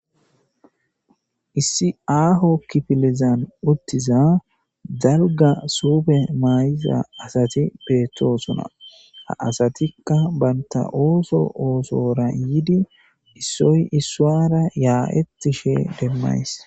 Issi aaho kifilizan uttiza dalga suufe mayiza asati beettosona ha asatikka baynta ooso oosora yiidi issoy issuwara yaa'ettishe demmays.